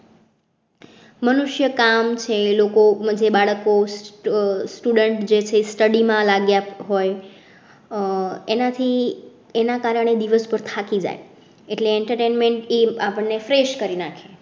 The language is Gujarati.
મનુષ્ય કામ સે લોકો માં જે બાળકો student જૈસે study માં લાગ્યા હોય એના કારણે દિવસ પર થાકી જાય એટલે entertainment જે છે આપણ ને fresh કરી નાંખે